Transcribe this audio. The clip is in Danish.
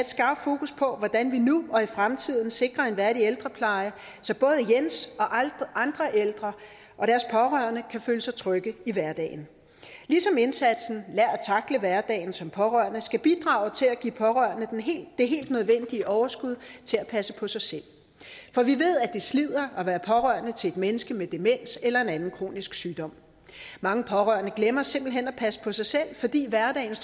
skarpt fokus på hvordan vi nu og i fremtiden sikrer en værdig ældrepleje så både jens og andre ældre og deres pårørende kan føle sig trygge i hverdagen ligesom indsatsen lær at tackle hverdagen som pårørende skal bidrage til at give pårørende det helt nødvendige overskud til at passe på sig selv for vi ved at det slider at være pårørende til et menneske med demens eller en anden kronisk sygdom mange pårørende glemmer simpelt hen at passe på sig selv fordi hverdagen